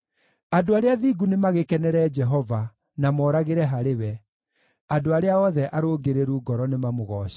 Andũ arĩa athingu nĩmagĩkenere Jehova na moragĩre harĩ we; andũ arĩa othe arũngĩrĩru ngoro nĩmamũgooce!